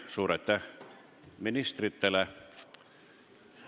Suur aitäh ministritele!